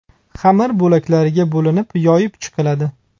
Xamir bo‘laklarga bo‘linib, yoyib chiqiladi.